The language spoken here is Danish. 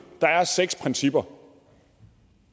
der er seks principper